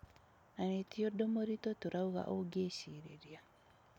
Na nĩ tî ũndũ mũrituũ toraũga ũngĩ cirǐria.